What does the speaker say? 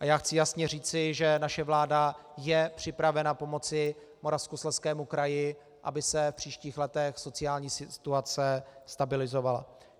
A já chci jasně říci, že naše vláda je připravena pomoci Moravskoslezskému kraji, aby se v příštích letech sociální situace stabilizovala.